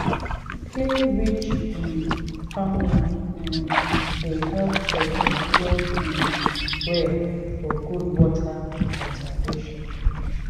clay-rich um farmland um dey help sorghum grow um well for good water conservation."